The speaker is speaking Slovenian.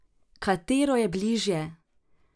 Katero je bližje?